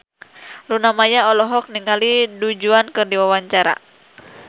Luna Maya olohok ningali Du Juan keur diwawancara